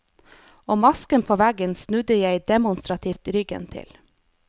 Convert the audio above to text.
Og masken på veggen snudde jeg demonstrativt ryggen til.